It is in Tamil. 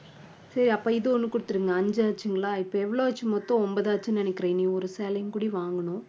சரி அப்ப இது ஒண்ணு கொடுத்துடுங்க. அஞ்சாச்சுங்களா இப்ப எவ்வளவு ஆச்சு மொத்தம் ஒன்பது ஆச்சுன்னு நினைக்கிறேன். இனி ஒரு சேலையும் கூட வாங்கணும்.